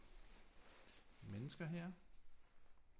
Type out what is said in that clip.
Mennesker her